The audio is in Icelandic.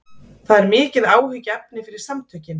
Þetta er mikið áhyggjuefni fyrir samtökin